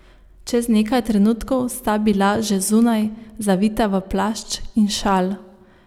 Čez nekaj trenutkov sta bila že zunaj, zavita v plašč in šal.